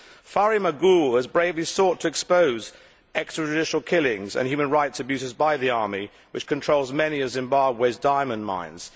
Farai Maguwu has bravely sought to expose extrajudicial killings and human rights abuses by the army, which controls many of Zimbabwe's diamond mines.